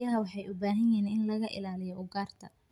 Riyaha waxa ay u baahan yihiin in laga ilaaliyo ugaarta.